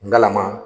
Ngalama